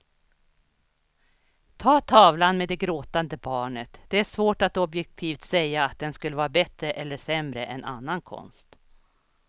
Ta tavlan med det gråtande barnet, det är svårt att objektivt säga att den skulle vara bättre eller sämre än annan konst.